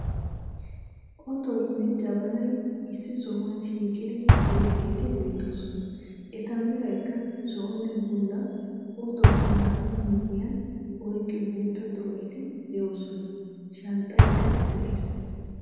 Ottoynne jabbanay issi sohuwan shiiqqidi de'iyageeti beettoosona. Eta Meraykka zo"onne bulla, otuwassi naa''aa miyan oyqqiyo guuttaa xoo"eeti de'oosona. Shanxxaykka de'ees.